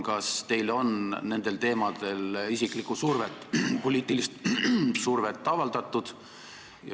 Kas teile on nendel teemadel isiklikku survet, poliitilist survet avaldatud?